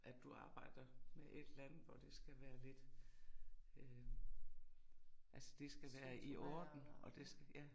At du arbejder med et eller andet hvor det skal være lidt øh altså det skal være i orden og det skal ja